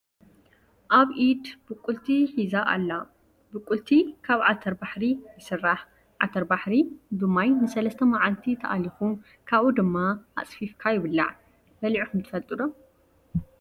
ኣብ ኢድ ብቁልቲ ሕዚ ኣላ። ቡቁልቲ ካብ ዓተር ባሕሪ ይስራሕ ።ዓተርባሕሪ ብማይ ንሰለስተ ማዓልቲ ተኣሊኩ ካብኡ ድማ ኣፅፊፍካ ይብላዕ ።በሊዕኩም ትፈልጡ ዶ?